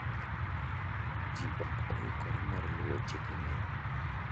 Ji ok oikore mar luwo chike ne.